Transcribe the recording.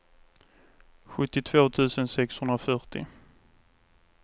sjuttiotvå tusen sexhundrafyrtio